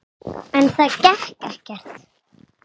En það gekk ekkert.